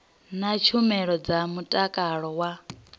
na tshumelo dza mutakalo wa